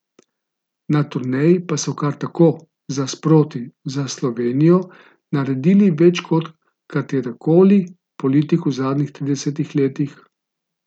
Na turneji pa so kar tako, za sproti, za Slovenijo naredili več kot katerikoli politik v zadnjih tridesetih letih.